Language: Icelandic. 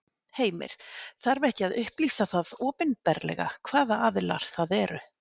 Heimir: Þarf ekki að upplýsa það opinberlega, hvaða aðilar það eru?